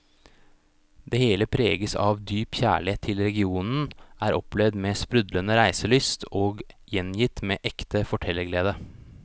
Det hele preges av dyp kjærlighet til regionen, er opplevd med sprudlende reiselyst og gjengitt med ekte fortellerglede.